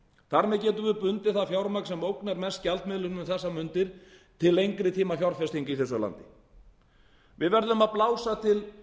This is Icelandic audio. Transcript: þar með getum við bundið það fjármagn sem ógnar mest gjaldmiðlum um þessar mundir til lengri tíma fjárfestinga í þessu landi við verðum að blása til